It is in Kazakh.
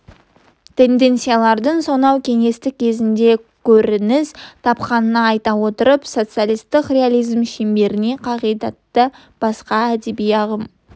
тенденциялардың сонау кеңестік кезеңде көрініс тапқанын айта отырып социалистік реализм шеңберінің қағидаты басқа әдеби ағым